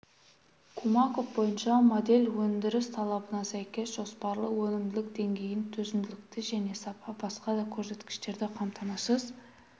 кумаков бойынша модель өндіріс талабына сәйкес жоспарлы өнімділік деңгейін төзімділікті және сапа басқа да көрсеткіштерді қамтамасыз